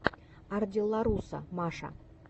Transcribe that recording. ардилларуса маша